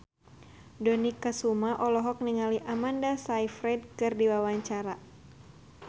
Dony Kesuma olohok ningali Amanda Sayfried keur diwawancara